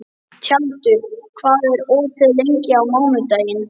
Tjaldur, hvað er opið lengi á mánudaginn?